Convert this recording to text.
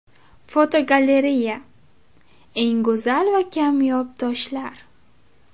Fotogalereya: Eng go‘zal va kamyob toshlar.